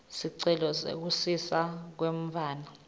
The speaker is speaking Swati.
sicelo sekusiswa kwemntfwana